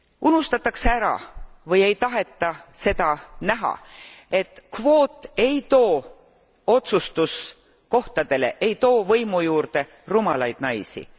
Unustatakse ära või ei taheta seda näha, et kvoot ei too otsustuskohtadele, ei too võimu juurde rumalaid naisi.